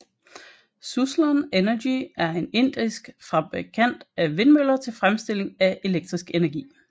Suzlon Energy er en indisk fabrikant af vindmøller til fremstilling af elektrisk energi